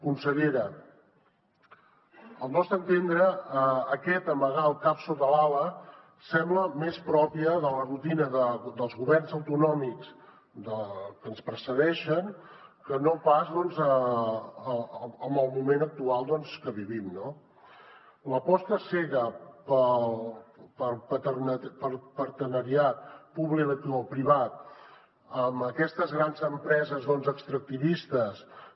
consellera al nostre entendre aquest amagar el cap sota l’ala sembla més propi de la rutina dels governs autonòmics que ens precedeixen que no pas doncs del moment actual que vivim no l’aposta cega pel partenariat publicoprivat amb aquestes grans empreses extractivistes que